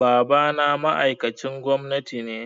Babana ma'aikacin gwamnati ne.